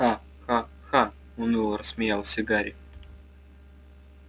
ха-ха-ха уныло рассмеялся гарри